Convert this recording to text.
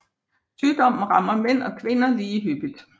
Sygdommen rammer mænd og kvinder lige hyppigt